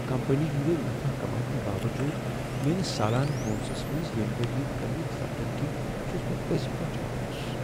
Company ہندِ نفع کماونہٕ باوجود میٲنِس سالانہٕ بونسس منز ییمہِ ؤرۍیہٕ كمی سپدنہٕ كِنۍ چُھس بہٕ پزۍ پٲٹھۍ مایوس ۔